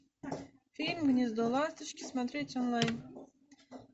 фильм гнездо ласточки смотреть онлайн